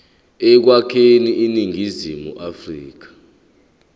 ekwakheni iningizimu afrika